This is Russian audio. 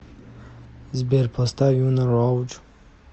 сбер поставь юна роудж